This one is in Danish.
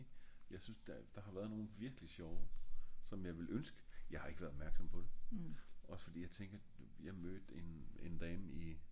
jeg synes der har været nogle virkelig sjove som jeg ville ønske jeg har ik været opmærksom på det ogs fordi jeg tænker jeg mødt en dame i